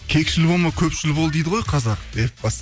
кекшіл болма көпшіл бол дейді ғой қазақ деп